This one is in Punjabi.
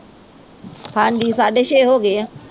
ਹਾਂਜੀ ਸਾਢੇ ਛੇ ਹੋ ਗਏ ਆ